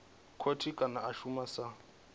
khothe kana a shuma sa